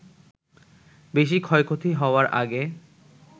বেশি ক্ষয়ক্ষতি হওয়ার আগে